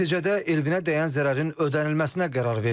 Nəticədə Elvinə dəyən zərərin ödənilməsinə qərar verilib.